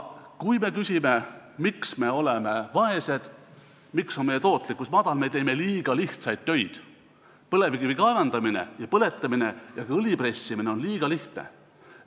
Kui me küsime, miks me oleme vaesed, miks on meie tootlikkus madal, siis vastus on, et me teeme liiga lihtsaid töid, põlevkivi kaevandamine ja põletamine ja ka õli pressimine on liiga lihtsad tööd.